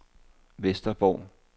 Vesterborg